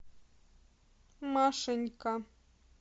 машенька